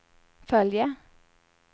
följa